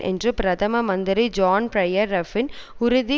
என்று பிரதம மந்திரி ஜோன் பியர் ரஃப்ரன் உறுதி